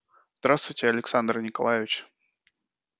здравствуйте александр николаевич